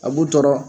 A b'u tɔɔrɔ